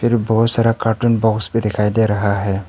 बहुत सारा carton box पर दिखाई दे रहा है।